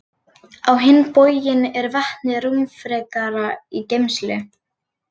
Á hinn bóginn er vetni rúmfrekara í geymslu.